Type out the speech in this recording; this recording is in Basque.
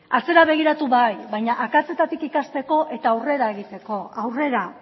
atzera begiratu bai baina akatsetatik ikasteko eta aurrera egiteko aurrera